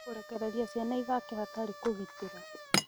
Kũrekereria ciana ithake hatarĩ kũgitĩra